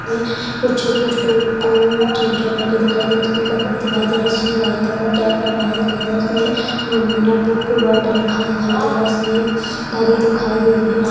इसमें दिखाए दे रहा-- इसमें एक आदमी दिखाई दे रहा है जिसने व्हाइट कलर का कैप लगाया दिखाई दे रहा है इसमें मंदना बुक वर्ल्ड लिखा दिखाई दे रहा-- इसमें घड़ी दिखाई दे रहा है।